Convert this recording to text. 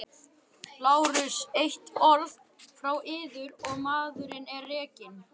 LÁRUS: Eitt orð frá yður og maðurinn er rekinn!